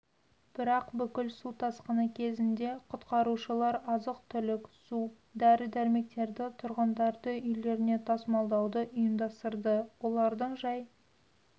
бірақ бүкіл су тасқыны кезінде құтқарушылар азық-түлік су дәрі-дәрмектерді тұрғындарды үйлеріне тасымалдауды ұйымдастырды олардың жай